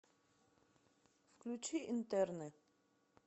включи интерны